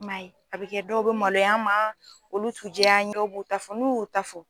I man ye a bɛ kɛ dɔw bɛ maloy'an ma olu t'u jɛy'an ye dɔw b'u ta fɔ n'u y'u ta fɔ